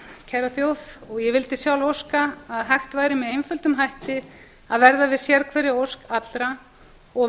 kæra þjóð og vildi sjálf óska að hægt væri með einföldum hætti að verða við sérhverri ósk allra og